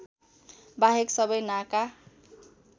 बाहेक सबै नाका